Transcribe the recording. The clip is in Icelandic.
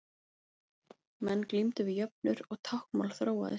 Menn glímdu við jöfnur og táknmál þróaðist.